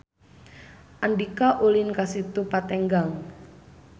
Andika ulin ka Situ Patenggang